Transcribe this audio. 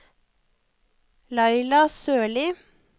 Laila Sørli